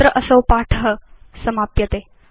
अत्र असौ पाठ समाप्यते